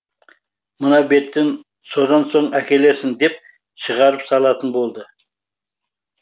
мына беттің содан соң әкелерсің деп шығарып салатын болды